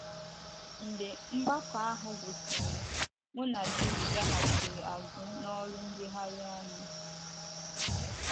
Mgbe mgbakọ ahụ gwụsịrị, mụ na Julie gaghachiri azụ n'oru njegharị anyị.